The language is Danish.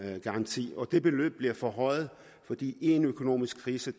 garanti og det beløb bliver forhøjet for i en økonomisk krise